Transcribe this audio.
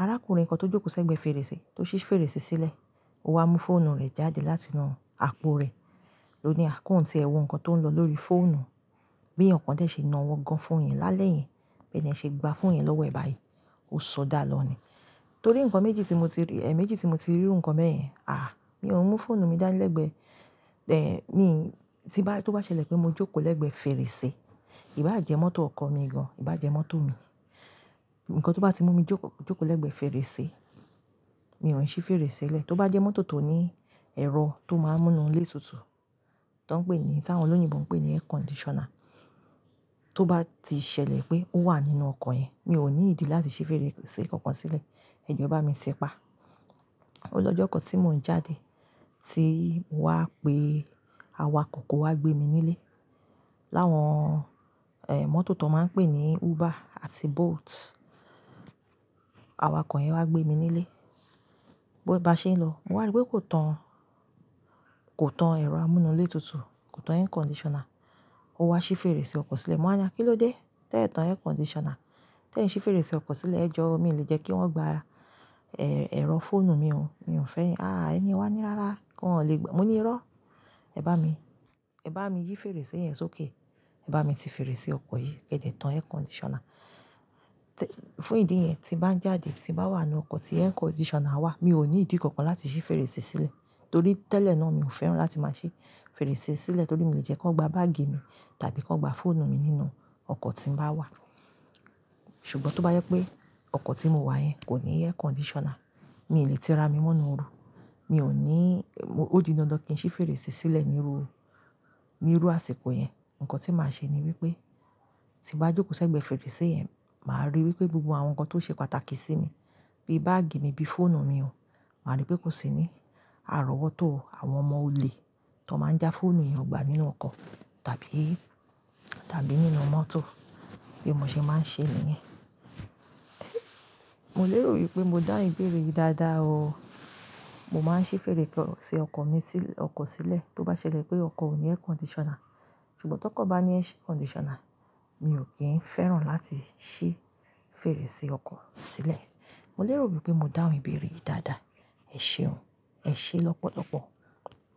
arákùnrin kan tó jókòó sẹ́gbẹ̀ẹ́ fèrèsé tó ṣí fèrèsé sílẹ̀, ó wá mú fóònù rẹ̀ jáde látinú àpò rẹ̀. Lo ní à kúùntì, ẹ wọ nǹkan tó ń lọ lórí fóònù, bí ẹ̀yàn kan dè ṣe na wọ́n gan fún òun yẹn lálẹ́ yẹn, bí ẹni ẹ ṣe gba fóònù yẹn lọ́wọ́ ẹ̀ báyìí. Ó ṣodà lọ ní. Torí nǹkan méjì tí mo ti rí, ẹ́, méjì tí mo ti rí irú nǹkan bẹ́ẹ̀ yẹn, àh! Mi ò mú fóònù mi dá lẹ́gbẹẹ́, ẹ́, mi, tí bá, tó bá ṣẹlẹ̀ pé mo jókòó lẹ́gbẹ̀ẹ́ fèrèsé, ìbá jẹ́ mọ́tò ọkọ̀ mi gan, ìbá jẹ́ mọ́tò mi. Ìkan tó bá ti mú mi jókòó lẹ́gbẹ̀ẹ́ fèrèsé, mi ò ní ṣí fèrèsé le. Tó bá jẹ́ mọ́tò tó ní ẹ̀rọ tó máa ń múnu lé tutù tó ń pè é ní, táwọn olóyìnbo ń pè é ní air conditioner, tó bá ti ṣẹlẹ̀ pé ó wà nínú ọkọ̀ yẹn, mi ò ní ìdí láti ṣí fèrèsé kankan sílẹ̀. Ẹ jọ bá mi ti pa. Olójọ́ ọkọ̀ tí mò ń jáde tí mo wá pé awakọ̀ kó wá gbé mi nílé. Láwọn, ẹ́, mọ́tò tó máa ń pè ní Uber àti Bolt. Awakọ̀ yẹn wá gbé mi nílé. Bá ṣe ń lọ, mo wà ní pé kó tán, kó tán ẹ̀rọ amúnulétutù, kó tán air conditioner, ó wá ṣí fèrèsé ọkọ̀ sílẹ̀. Mo wá ní, "Kí ló dé? Tẹ́ ẹ tán air conditioner. Tẹ́ ẹ ṣí fèrèsé ọkọ̀ sílẹ̀. Ẹ jọ, mi ò lè jẹ́ kí wọ́n gba, ẹ́, ẹ̀rọ fóònù mi o. Mi ò fẹ́ yẹn." "Àh! Ẹni ẹ wá ní rárá, kí wọ́n lè gba." "Mo ní irọ́. Ẹ bá mi, ẹ bá mi yí fèrèsé yẹn sókè. Ẹ bá mi ti fèrèsé ọkọ̀ yìí. Kẹ́dẹ̀ tán air conditioner." Fún ìdí yẹn, tí bá ń jáde, tí bá wà nínú ọkọ̀ tí air conditioner wà, mi ò ní ìdí kankan láti ṣí fèrèsé sílẹ̀. Torí tẹ́lẹ̀ náà mi ò fẹ́ràn láti máa ṣí fèrèsé sílẹ̀ torí mi ò lè jẹ́ kí wọ́n gba báàgì mi tàbí kí wọ́n gba fóònù mi nínú ọkọ̀ tí mò ń bá wà. Ṣùgbọ́n tó bá yẹ pé ọkọ̀ tí mò ń wà yẹn kò ní air conditioner, mi ò lè ti ra mí menú oru. Mi ò ní, ó di iná lọ kí n ṣí fèrèsé sílẹ̀ níru, níru àsìkò yẹn. Nǹkan tí màá ṣe ni wípé tí mo bá jókòó sẹ́gbẹ̀ẹ́ fèrèsé yẹn, màá ríi wípé gbogbo àwọn nǹkan tó ṣe pàtàkì sí mi bí báàgì mi bí fóònù mi o, màá ríi pé kò sí ní àrọ́wọ́tọ́ àwọn ọmọ olè tó máa ń já fóònù èèyàn gbà nínú ọkọ̀ tàbí, tàbí nínú mọ́tò bí mo ṣe máa ń ṣe nìyẹn. Mo lérò wípé mo dá ìbéèrè yìí dáadáa o. Mo máa ń ṣí fèrèsé ọkọ̀ mi sí, ọkọ̀ sílẹ̀ tó bá ṣẹlẹ̀ pé ọkọ̀ ò ní air conditioner. Ṣùgbọ́n tó kọ́ bá ní air conditioner, mi ò kí ń fẹ́ràn láti ṣí fèrèsé ọkọ̀ sílẹ̀. Mo lérò wípé mo dá ìbéèrè yìí dáadáa. Ẹ ṣeun. Ẹ ṣé lọ́pọ̀lọ́pọ̀.